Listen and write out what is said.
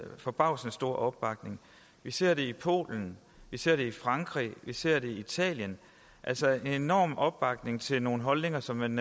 forbavsende stor opbakning vi ser det i polen vi ser det i frankrig vi ser det i italien altså en enorm opbakning til nogle holdninger som man